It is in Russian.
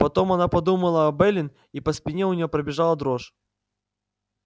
потом она подумала об эллин и по спине у нее пробежала дрожь